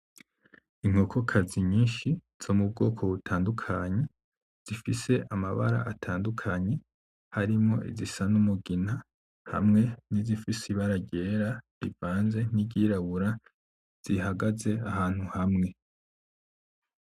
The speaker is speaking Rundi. Inkokokazi nyinshi zo mu bwoko butandukanye zifise amabara atandukanye harimwo izisa n'umugina hamwe nizifise ibara ryera rivanze niryirabura zihagaze ahantu hamwe.